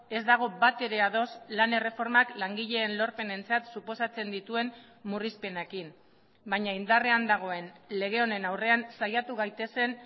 ez dago batere ados lan erreformak langileen lorpenentzat suposatzen dituen murrizpenekin baina indarrean dagoen lege honen aurrean saiatu gaitezen